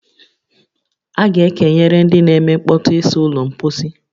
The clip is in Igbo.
A ga-ekenyere ndị n'eme nkpọtu ịsa ụlọ mposi